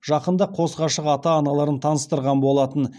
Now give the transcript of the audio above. жақында қос ғашық ата аналарын таныстырған болатын